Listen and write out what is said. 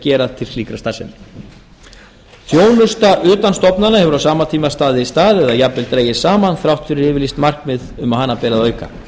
gera til slíkrar starfsemi þjónusta utan stofnana hefur á sama tíma staðið í stað eða jafnvel dregist saman þrátt fyrir yfirlýst markmið um að hana beri að auka